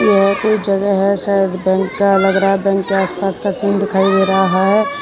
यह एक जगह है शायद बैंक का लग रहा है बैंक का आस पास का सीन दिखाई दे रहा है।